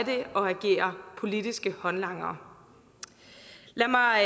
at agere politiske håndlangere lad mig